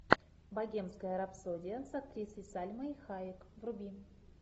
богемская рапсодия с актрисой сальмой хайек вруби